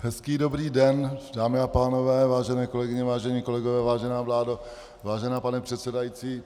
Hezký dobrý den, dámy a pánové, vážené kolegyně, vážení kolegové, vážená vládo, vážený pane předsedající.